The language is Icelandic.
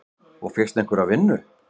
Og fékkstu einhverja vinnu?